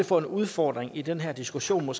få en udfordring i den her diskussion